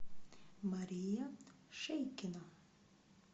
мария шейкина